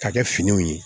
K'a kɛ finiw ye